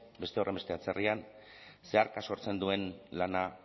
beste horrenbeste atzerrian zeharka sortzen duen lana